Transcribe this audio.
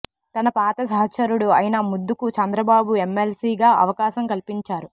తన పాత సహచరుడు అయిన ముద్దుకు చంద్రబాబు ఎమ్మెల్సీగా అవకాశం కల్పించారు